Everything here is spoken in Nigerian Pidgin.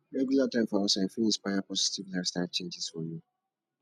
regular time for outside fit inspire positive lifestyle changes for you